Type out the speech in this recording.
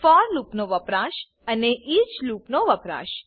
four લૂપનો વપરાશ અને ઇચ લૂપનો વપરાશ